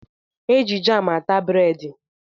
Eji jam ata breedi